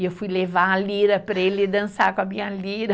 E eu fui levar a lira para ele dançar com a minha lira.